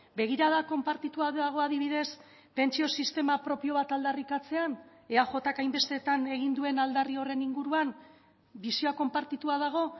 begirada konpartitua dago adibidez pentsio sistema propio bat aldarrikatzean eajk hainbestetan egin duen aldarri horren inguruan bisioa konpartitua dago